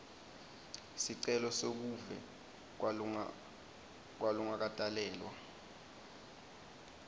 sicelo sebuve kwalongakatalelwa